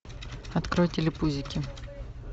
открой телепузики